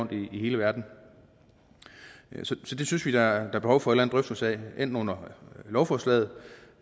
i hele verden så det synes vi der er behov for en eller anden drøftelse af enten under behandlingen af lovforslaget